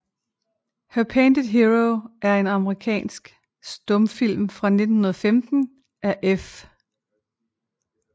Her Painted Hero er en amerikansk stumfilm fra 1915 af F